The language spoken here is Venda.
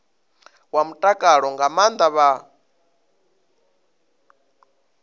wa mutakalo nga maana vha